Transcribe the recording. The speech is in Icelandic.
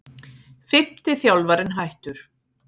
Fimmti þjálfarinn hættur